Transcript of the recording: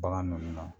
Bagan ninnu na